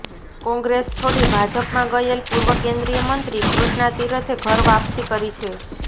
કોંગ્રેસ છોડી ભાજપમાં ગયેલ પૂર્વ કેન્દ્રીય મંત્રી કૃષ્ણા તીરથે ઘર વાપસી કરી છે